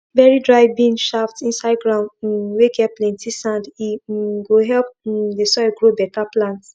bury dry bean shaft inside ground um whey get plenty sand he um go help um the soil grow better plants